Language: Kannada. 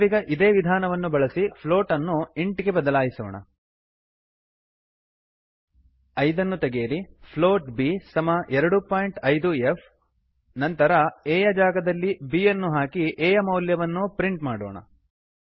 ನಾವೀಗ ಇದೇ ವಿಧಾನವನ್ನು ಬಳಸಿ ಫ್ಲೋಟ್ ಪ್ಲೋಟ್ ಅನ್ನು ಇಂಟ್ ಇಂಟ್ ಗೆ ಬದಲಾಯಿಸೋಣ 5 ಐದನ್ನು ತೆಗೆಯಿರಿ ಫ್ಲೋಟ್ b ಪ್ಲೋಟ್ ಬಿ ಸಮ 25ಫ್ ಎರಡು ಬಿಂದು ಐದು ಎಫ್ ನಂತರ a ಎ ಯ ಜಾಗದಲ್ಲಿ b ಬಿ ಯನ್ನು ಹಾಕಿ ಎ ಯ ಮೌಲ್ಯವನ್ನು ಪ್ರಿಂಟ್ ಮಾಡೋಣ